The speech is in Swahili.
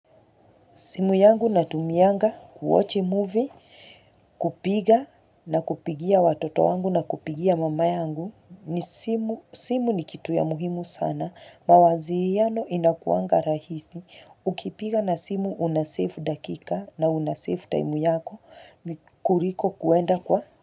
Simu yangu natumianga, ku-watch movie, kupiga na kupigia watoto wangu na kupigia mama yangu. Simu ni kitu ya muhimu sana. Mawasiliano inakuanga rahisi. Ukipiga na simu una-save dakika na una-save time yako. Kuliko kwenda kwa.